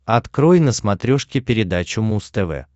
открой на смотрешке передачу муз тв